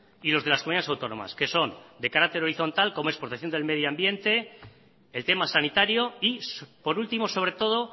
y los de las comunidades autónomas que son de carácter horizontal como es protección del medio ambiente el tema sanitario y por último sobre todo